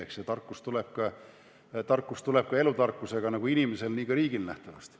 Eks see tarkus tuleb nähtavasti elutarkusega – nagu inimesel nii ka riigil.